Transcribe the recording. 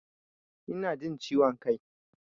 Ina jin ciwon kai.